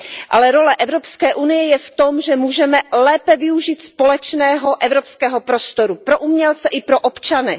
Ale role Evropské unie je v tom, že můžeme lépe využít společného evropského prostoru pro umělce i pro občany.